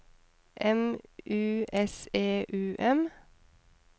M U S E U M